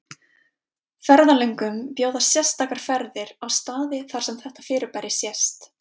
Ferðalöngum bjóðast sérstakar ferðir á staði þar sem þetta fyrirbæri sést.